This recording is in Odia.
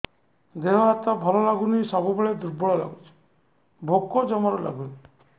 ଦେହ ହାତ ଭଲ ଲାଗୁନି ସବୁବେଳେ ଦୁର୍ବଳ ଲାଗୁଛି ଭୋକ ଜମାରୁ ଲାଗୁନି